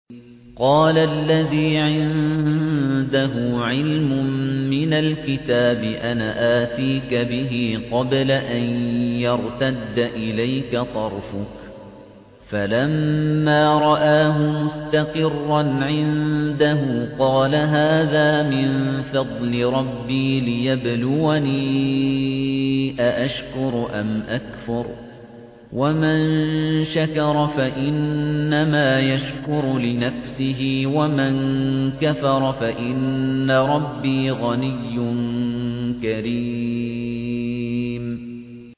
قَالَ الَّذِي عِندَهُ عِلْمٌ مِّنَ الْكِتَابِ أَنَا آتِيكَ بِهِ قَبْلَ أَن يَرْتَدَّ إِلَيْكَ طَرْفُكَ ۚ فَلَمَّا رَآهُ مُسْتَقِرًّا عِندَهُ قَالَ هَٰذَا مِن فَضْلِ رَبِّي لِيَبْلُوَنِي أَأَشْكُرُ أَمْ أَكْفُرُ ۖ وَمَن شَكَرَ فَإِنَّمَا يَشْكُرُ لِنَفْسِهِ ۖ وَمَن كَفَرَ فَإِنَّ رَبِّي غَنِيٌّ كَرِيمٌ